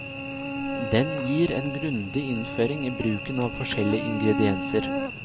Den gir en grundig innføring i bruken av forskjellige ingredienser.